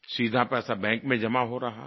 सीधा पैसा बैंक में जमा हो रहा है